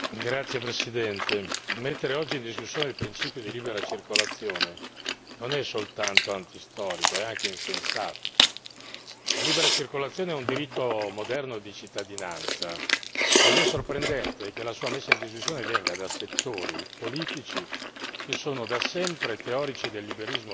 Signor Presidente, onorevoli colleghi, mettere oggi in discussione il principio di libera circolazione non è soltanto antistorico è anche insensato. La libera circolazione è un diritto moderno di cittadinanza ed è sorprendente che la sua messa in discussione venga da settori politici